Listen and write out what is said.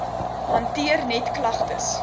hanteer net klagtes